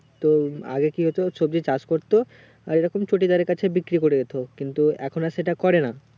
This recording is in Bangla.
তো আগে কি হতো সবজি চাষ করতো আর এইরকম চটিদারের কাছে বিক্রি করে যেত কিন্তু এখন আর সেটা করে না